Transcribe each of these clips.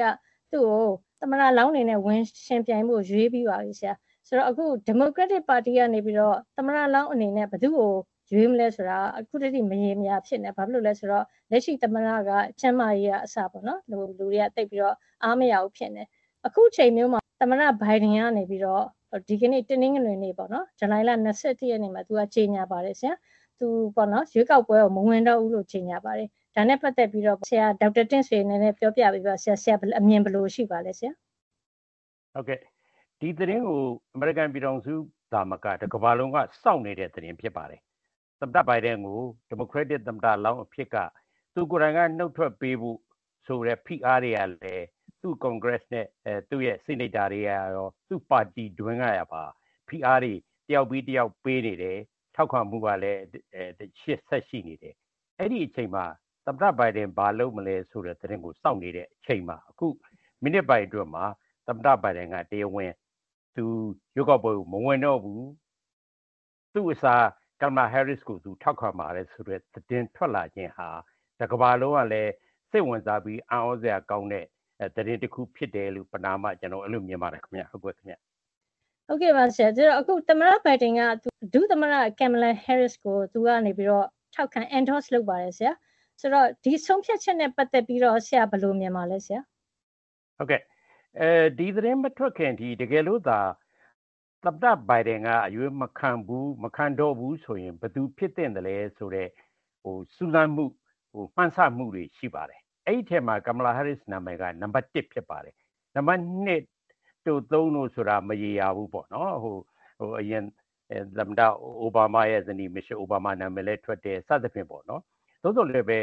က သူ့ကို သမ္မတလောင်းအနေနဲ့ ဝင်ယှဥ်ပြိုင်ဖို့ ရွေးပြီးပါပြီဆရာ၊၊ အခု ဒီမိုကရက်တစ်ပါတီကနေပြီးတော့ သမ္မတလောင်းအနေနဲ့ ဘယ်သူ့ကိုရွေးမလဲဆိုတာက အခုထက်ထိမရေမရာဖြစ်နေတယ်၊ ဘာဖြစ်လို့လဲဆိုတော့ လက်ရှိသမ္မတက ကျန်းမာရေးကအစ လူတွေက သိပ်ပြီးတော့ အားမရဘူးဖြစ်နေတယ်။ အခုအချိန်မျိုးမှာ သမ္မတဘိုင်ဒန်ကနေပြီးတော့ ဒီကနေ့ တနင်္ဂနွေနေ့ ဇူလိုင်လ ၂၁ ရက်နေ့မှာ သူ ရွေးကောက်ပွဲမဝင်တော့ဘူးလို့ ကြေညာပါတယ်။ ဒါနဲ့ပတ်သက်ပြီးတော့ ဆရာ ဒေါက်တာတင့်ဆွေရဲ့အမြင်ကိုပြောပြပေးပါ။ ဆရာ့အမြင်ဘယ်လိုရှိပါသလဲဆရာ။ ဟုတ်ကဲ့၊ ဒီသတင်းကို အမေရိကန်ပြည်ထောင်စုသာမက တကမ္ဘာလုံးက စောင့်နေတဲ့ သတင်းဖြစ်ပါတယ်။ သမ္မတဘိုင်ဒန်ကို ဒီမိုကရက်တစ်သမ္မတလောင်းအဖြစ်က သူကိုယ်တိုင်ကနုတ်ထွက်ပေးဖို့ဆိုတဲ့ဖိအားတွေကလည်း သူ့ကွန်ဂရက်စ်နဲ့သူ့ရဲ့ဆီနိတ်တာတွေကရော သူ့ပါတီတွင်းကပါ ဖိအားတွေ တယောက်ပြီးတယောက်ပေးနေတယ်၊ ထောက်ခံမှုကလည်း ဆက်ရှိနေတယ်။ အဲဒီအချိန်မှာ သမ္မတဘိုင်ဒန်ဘာလုပ်မလဲဆိုတဲ့သတင်းကိုစောင့်နေချိန်မှာ အခု မိနစ်ပိုင်းအတွင်းမှာ သမ္မတဘိုင်ဒန်က တရားဝင် သူ ရွေးကောက်ပွဲကိုမဝင်တော့ဘူး၊ သူ့အစား ကင်မလာဟဲရစ္စ်ကိုထောက်ခံပါတယ်ဆိုတဲ့သတင်း တကမ္ဘာလုံးကလည်း စိတ်ဝင်စားပြီး အံ့သြစရာကောင်းတဲ့သတင်းတခုဖြစ်တယ်လို့ ပဏာမ ကျနော်အဲလိုမြင်ပါတယ်ခင်ဗျ။ ဟုတ်ကဲ့ပါ။ အခု သမ္မတဘိုင်ဒန်က ဒုသမ္မတကင်မလာဟဲရစ္စ်ကို ထောက်ခံ endose လုပ်ပါတယ်ဆရာ။ ဒီဆုံးဖြတ်ချက်နဲ့ပတ်သက်ပြီးတော့ရော ဆရာ ဘယ်လိုမြင်ပါလဲဆရာ။ ဟုတ်ကဲ့၊ ဒီသတင်းမထွက်ခင် တကယ်လို့သာ သမ္မတဘိုင်ဒန်က ရွေးကောက်ပွဲမဝင်တော့ဘူးဆိုရင် ဘယ်သူဖြစ်မလဲဆိုတော့ စူးစမ်းမှု မှန်းဆမှုတွေရှိပါတယ်။ အဲဒီထဲမှာ ကင်မလာဟဲရစ္စ်နာမည်က နံပါတ် ဖြစ်ပါတယ်။ နံပါတ် တို့၊ တို့ဆိုတာက မရေရာဘူးပေါ့နော်။ အရင်သမ္မတအိုဘားမားရဲ့ဇနီး မီရှဲလ်အိုဘားမားရဲ့နာမည်လည်းထွက်တယ်။ စသဖြင့်ပေါ့၊ သို့သော်လည်းပဲ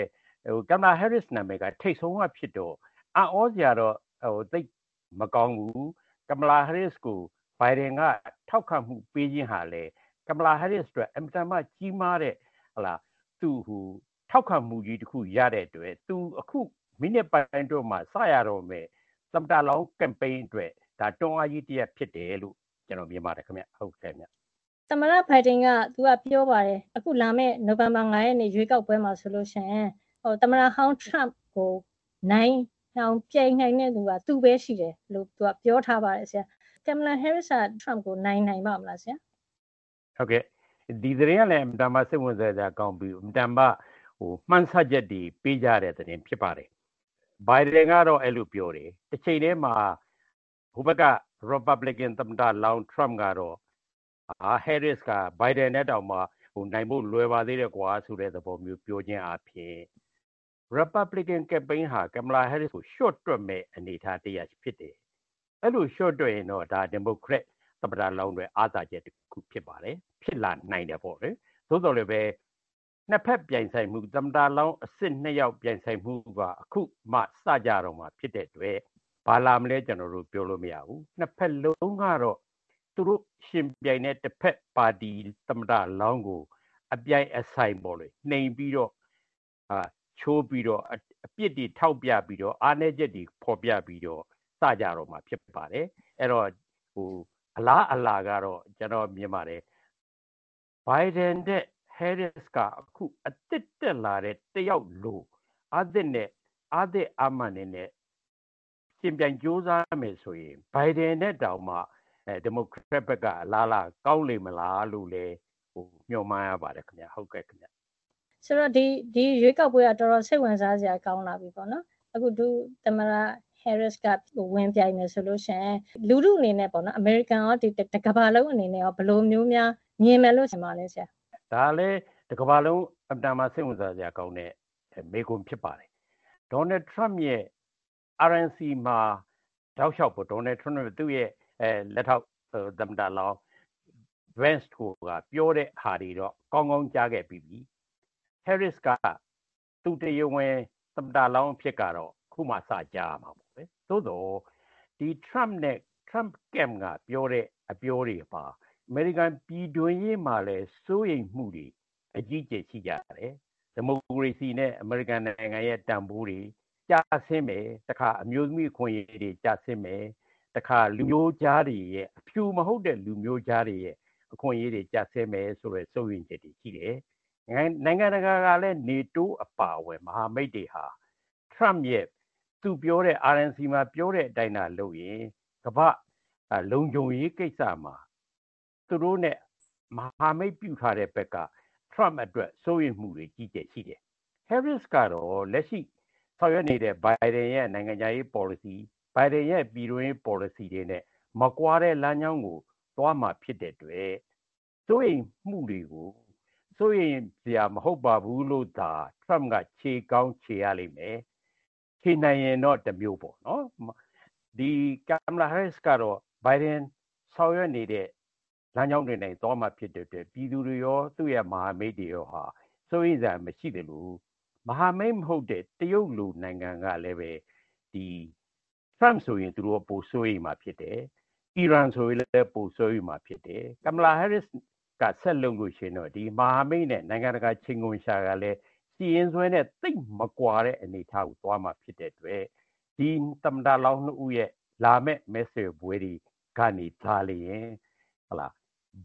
ကင်မလာဟဲရစ္စ်ရဲ့နာမည်က ထိပ်ဆုံးကဖြစ်တော့ အံ့သြစရာတော့ သိပ်မကောင်းဘူး။ ကင်မလာဟဲရစ္စ်ကို ဘိုင်ဒန်က ထောက်ခံမှုပေးခြင်းဟာလည်း ကင်မလာဟဲရစ္စ်အတွက် အင်မတန်မှကြီးမားတဲ့ ထောက်ခံမှုကြီးတခုရတဲ့အတွက် သူ အခု မိနစ်ပိုင်းအတွင်းမှာစရတော့မယ့် သမ္မတလောင်ကမ်ပိန်းအတွက် တွန်းအားကြီးတရပ်ဖြစ်တယ်လို့ မြင်ပါတယ်ခင်ဗျ။ သမ္မတဘိုင်ဒန်ကပြောပါတယ်။ အခု လာမယ့်နိုဝင်ဘာ ၅ ရက်နေ့ ရွေးကောက်ပွဲမှာဆိုလို့ရှိရင် သမ္မတဟောင်းထရမ့်ကိုနိုင်အောင်ပြိုင်နိုင်တဲ့သူက သူပဲရှိတယ်လို့ ပြောထားပါတယ်ဆရာ။ ကင်မလာဟဲရစ္စ်က ထရမ့်ကိုနိုင်,နိုင်ပါ့မလားဆရာ။ ဒီသတင်းကလည်း အင်မတန်မှစိတ်ဝင်စားစရာကောင်းပြီး အင်မတန်မှ မှန်းဆချက်တွေ ပေးကြတဲ့သတင်းဖြစ်ပါတယ်။ ဘိုင်ဒန်ကတော့ အဲလိုပြောတယ်။ တချိန်တည်းမှာ ဟိုဘက်က ရီပတ်ဘလစ်ကန်သမ္မတလောင်းထရမ့်ကတော့ ‘ဟဲရစ္စ်ကတော့ ဘိုင်ဒန်ထက်တောင်မှ နိုင်ဖို့လွယ်ပါသေးတယ်ကွာ’ ဆိုတဲ့ သဘောမျိုး ပြောခြင်းအားဖြင့် ရီပတ်ဘလစ်ကန် ကမ်ပိန်းဟာ ကင်မလာဟဲရစ္စ်ကို လျှော့တွက်မယ့်အနေအထားတရပ်ဖြစ်တယ်။ အဲလိုလျှော့တွက်ရင်တော့ ဒီမိုကရက်သမ္မတလောင်းအတွက် အားသာချက်တခုဖြစ်ပါတယ်။ ဖြစ်လာနိုင်တယ်ပေါ့လေ။ သို့သော်လည်းပဲ နှစ်ဘက်ပြိုင်ဆိုင်မှု သမ္မတလောင်းအစစ်နှစ်ယောက်ပြိုင်ဆိုင်မှုက အခုမှ စကြတော့မှာဖြစ်တဲ့အတွက် ဘာလာမလဲ ကျနော်တို့ပြောလို့မရဘူး။ နှစ်ဘက်လုံးကတော့ သူတို့ယှဥ်ပြိုင်တဲ့တဘက်ပါတီသမ္မတလောင်းကို အပြိုင်အဆိုင် နှိမ်ပြီးတော့၊ ချိုးပြီးတော့၊ အပြစ်တွေထောက်ပြပြီးတော့၊ အားနည်းချက်တွေဖော်ပြပြီးတော့ စကြတော့မှာဖြစ်ပါတယ်။ အဲဒီတော့ အလားအလာကတော့ ကျနော်မြင်ပါတယ်။ ဘိုင်ဒန်ထက် ဟဲရစ္စ်က အခုအသစ်တက်လာတဲ့တယောက်လို အားသစ်အားမာန်တွေနဲ့ယှဥ်ပြိုင်ကြိုးစားမယ်ဆိုရင် ဘိုင်ဒန်ထက်တောင်မှ ဒီမိုကရက်ဘက်ကအလားအလာ ကောင်းနေမလားလို့လည်း မျှော်မှန်းရပါတယ်ခင်ဗျ။ ဆိုတော့ ဒီရွေးကောက်ပွဲက တော်တော်စိတ်ဝင်စားစရာကောင်းလာပြီပေါ့နော်။ အခု ဒုသမ္မတဟဲရစ္စ်ကဝင်ပြိုင်မယ်ဆိုလို့ရှိရင် လူထုအနေနဲ့ အမေရိကန်ရော၊ တကမ္ဘာလုံးအနေနဲ့ရော ဘယ်လိုမျိုးများမြင်မယ်လို့ထင်ပါသလဲဆရာ။ ဒါလည်း တကမ္ဘာလုံး အင်မတန်မှစိတ်ဝင်စားစရာကောင်းတဲ့ မေးခွန်းဖြစ်ပါတယ်။ ဒေါ်နယ်ထရမ့်ရဲ့ RNC မှာ ဒေါ်နယ်ထရမ့်နဲ့ သူ့ရဲ့လက်ထောက် သမ္မတလောင်း Vance တို့က ပြောတဲ့ဟာတွေတော့ ကောင်းကောင်းကြားခဲ့ပြီးပြီ။ ဟဲရစ္စ်က သူတရားဝင် သမ္မတလောင်းအဖြစ်ကတော့ အခုမှစကြားရမှာပေါ့လေ။ သို့သော် ထရမ့်နဲ့သူ့ camp က ပြောတဲ့အပြောတွေမှာ အမေရိကန်ပြည်တွင်းရေးမှာလည်း စိုးရိမ်မှုတွေအကြီးအကျယ်ရှိကြတယ်။ ဒီမိုကရေစီနဲ့အမေရိကန်ရဲ့တန်ဖိုးတွေကျဆင်းမယ်၊ အမျိုးသမီးအခွင့်အရေးတွေကျဆင်းမယ်။ တခါ အဖြူမဟုတ်တဲ့လူမျိုးခြားတွေရဲ့အခွင့်အရေးတွေ ကျဆင်းမယ်ဆိုတဲ့ စိုးရိမ်ချက်တွေရှိတယ်။ နိုင်ငံတကာကလည်း နေတိုးအပါအဝင် မဟာမိတ်တွေဟာ ထရမ့်ရဲ့ RNC မှာပြောတဲ့အတိုင်းသာ လုပ်ရင် ကမ္ဘာ့လုံခြုံရေးကိစ္စမှာ သူတို့နဲ့မဟာမိတ်ပြုထားတဲ့ဘက်က ထရမ့်အတွက် စိုးရိမ်မှုတွေ အကြီးအကျယ်ရှိတယ်။ ဟဲရစ္စ်ကတော့ လက်ရှိဆောင်ရွက်နေတဲ့ ဘိုင်ဒန်ရဲ့ နိုင်ငံခြားရေးပေါ်လစီ၊ ဘိုင်ဒန်ရဲ့ပြည်တွင်းရေးပေါ်လစီတွေနဲ့ မကွာတဲ့လမ်းကြောင်းကိုသွားမှာဖြစ်တဲ့အတွက် စိုးရိမ်မှုတွေကို စိုးရိမ်စရာမဟုတ်ပါဘူးလို့သာ ထရမ့်က ချေကောင်းချေရလိမ့်မယ်၊ ချေနိုင်ရင်တော့တမျိုးပေါ့နော်။ ကင်မလာဟဲရစ္စ်ကတော့ ဘိုင်ဒန်ဆောင်ရွက်နေတဲ့ လမ်းကြောင်းတွေနဲ့သွားမှာဖြစ်တဲ့အတွက် ပြည်သူတွေရော သူ့ရဲ့မဟာမိတ်တွေရောဟာ စိုးရိမ်စရာမရှိသလို မဟာမိတ်မဟုတ်တဲ့ တရုတ်လို နိုင်ငံကလည်းပဲ ထရမ့်ဆိုရင် သူတို့ပိုစိုးရိမ်မှာဖြစ်တယ်။ အီရန်ဆိုရင်လည်း ပိုစိုးရိမ်မှာ ဖြစ်တယ်။ ကင်မလာဟဲရစ္စ်ကဆက်လုပ်မယ်ဆိုလို့ရှိရင်တော့ ဒီမဟာမိတ်နဲ့ နိုင်ငံတကာ ချိန်ခွင်လျှာကလည်း ရှိရင်းစွဲနဲ့သိပ်မကွာတဲ့အနေအထားကို သွားမှာဖြစ်တဲ့အတွက် ဒီသမ္မတလောင်းနှစ်ဦးရဲ့ လာမယ့်မဲဆွယ်ပွဲတွေကနေသာလျှင်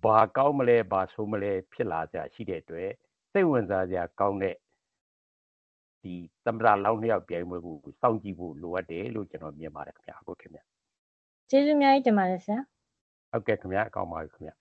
ဘာကောင်းမလဲ၊၊ ဘာဆိုးမလဲဖြစ်လာစရာရှိတဲ့အတွက် စိတ်ဝင်စားစရာကောင်းတဲ့ သမ္မတလောင်းနှစ်ယောက်ပြိုင်ပွဲကို စောင့်ကြည့်ဖို့လိုအပ်တယ်လို့ ကျနော် မြင်ပါတယ်ခင်ဗျ။ ကျေးဇူးအများကြီးတင်ပါတယ်ဆရာ။ ဟုတ်ကဲ့ခင်ဗျာ။ ကောင်းပါပြီခင်ဗျ